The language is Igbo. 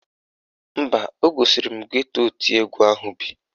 Mba, o gosiri m geto oti egwu ahụ bi.